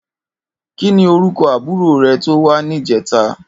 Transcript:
Kini órúkò ábúrò rè tó wà nijètá?